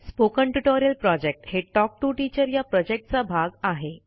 spoken tutorial project हे talk to teacher या प्रॉजेक्टचा भाग आहे